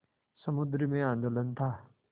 समुद्र में आंदोलन था